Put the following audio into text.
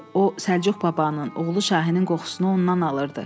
O, Səlcuq babanın oğlu Şahinin qoxusunu ondan alırdı.